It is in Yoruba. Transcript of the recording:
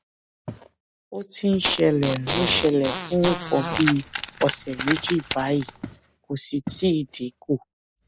ó ti ń ṣẹlẹ ń ṣẹlẹ fún nǹkan bí ọsẹ méjì báyìí kò sì tíì dín kù